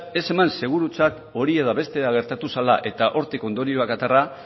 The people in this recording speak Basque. ez eman segurutzat hori edo beste gertatu zela eta hortik ondorioak atera